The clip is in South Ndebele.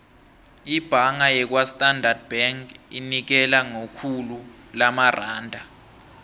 ibhanga yakwastandard bank inikela ngekhulu lamaranda